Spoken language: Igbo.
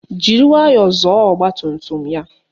Jiri nwayọọ zọọ ọgbatumtum ya